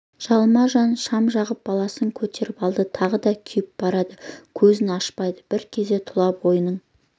жалма-жан шам жағып баласын көтеріп алды тағы да күйіп барады көзін ашпайды бір кезде тұла бойының